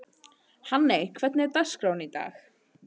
Hanney, hvernig er dagskráin í dag?